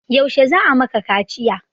Yaushe za a maka kaciya?